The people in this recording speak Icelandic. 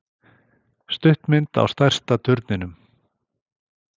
Stuttmynd á stærsta turninum